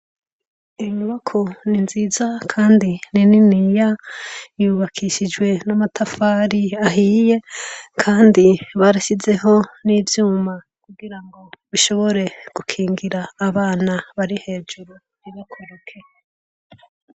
Iyo nyubakwa ni nziza kandi ni niniya, yubakishijwe n'amatafari ahiye kandi barashizeho n'ivyuma kugirango bishobore gukingira abana bari hejuru kugirango ntibakoroke.